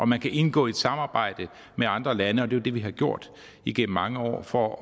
man kan indgå i et samarbejde med andre lande og det det vi har gjort igennem mange år for